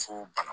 Fo bana